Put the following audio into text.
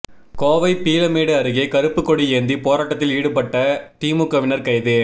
கோவை பீளமேடு அருகே கருப்புக்கொடி ஏந்தி போராட்டத்தில் ஈடுபட்ட திமுகவினர் கைது